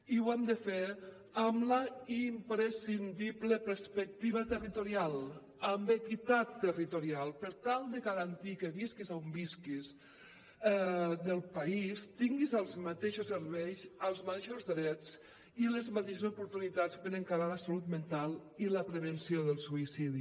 i ho hem de fer amb la imprescindible perspectiva territorial amb equitat territorial per tal de garantir que visquis a on visquis del país tinguis els mateixos serveis els mateixos drets i les mateixes oportunitats per encarar la salut mental i la prevenció del suïcidi